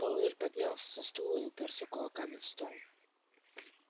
пауэлл поднялся со стула и упёрся кулаками в стол